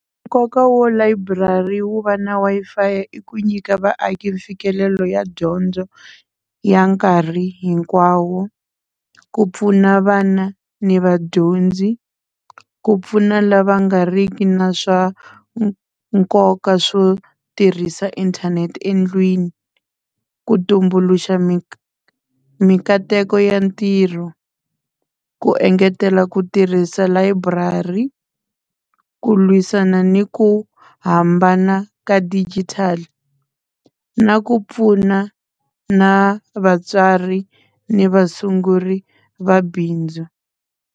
Nkoka wa library wo va na Wi-Fi i ku nyika vaaki mfikelelo ya dyondzo ya nkarhi hinkwawo ku pfuna vana ni vadyondzi ku pfuna lava nga ri ki na swa nkoka swo tirhisa inthanete endlwini ku tumbuluxa minkateko ya ntirho ku engetela ku tirhisa layiburari ku lwisana ni ku hambana ka digital na ku pfuna na vatswari ni vasunguri va bindzu.